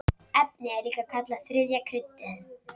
Efnið er líka kallað þriðja kryddið.